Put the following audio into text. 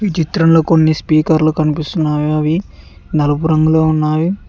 ఈ చిత్రంలో కొన్ని స్పీకర్లు కనిపిస్తున్నాయా అవి నలుపు రంగులో ఉన్నాయి.